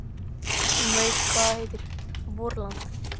Ég veit hvað það heitir: VORLAND!